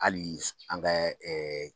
Hali an kɛ